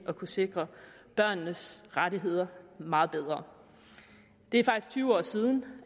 at kunne sikre børnenes rettigheder meget bedre det er faktisk tyve år siden